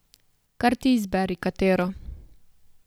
Kar ti izberi, katero.